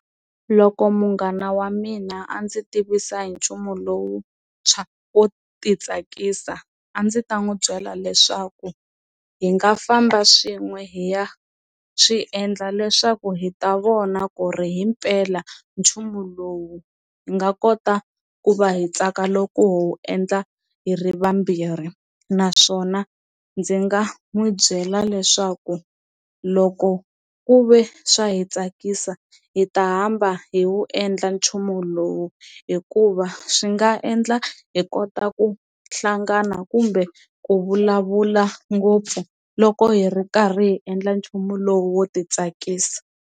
Loko munghana wa mina a ndzi tivisa hi nchumu lowuntshwa wo ti tsakisa a ndzi ta n'wi byela leswaku hi nga famba swin'we hi ya swi endla leswaku hi ta vona ku ri himpela nchumu lowu hi nga kota ku va hi tsaka loko ho wu endla hi ri vambirhi, naswona ndzi nga n'wi byela leswaku loko ku ve swa hi tsakisa hi ta hamba hi wu endla nchumu lowu hikuva swi nga endla hi kota ku hlangana kumbe ku vulavula ngopfu loko hi ri karhi hi endla nchumu lowo wo ti tsakisa.